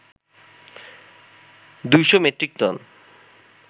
২শ metric ton